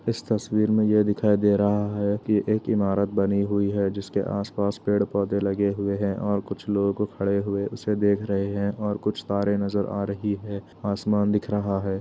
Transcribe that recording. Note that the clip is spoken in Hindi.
इस तस्वीर में यह दिखाई दे रहा है कि एक इमारत बनी हुई है जिसके आस-पास पेड़-पोधे लगे हुए हैं और कुछ लोग खड़े हुए उसे देख रहे हैं और कुछ तारे नजर आ रही है। आसमान दिख रहा है।